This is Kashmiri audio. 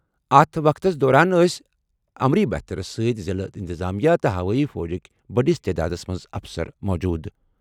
اتھ وقتس دوران ٲسۍ امری بھترَس سۭتۍ ضِلعہٕ اِنتِظامیہ تہٕ ہوٲیی فوجٕکہِ بٔڑِس تعدادَس منٛز اَفسَر موٗجوٗد۔